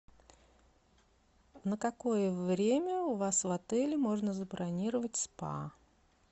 на какое время у вас в отеле можно забронировать спа